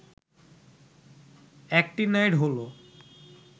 actinide হল